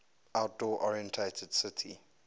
outdoor oriented city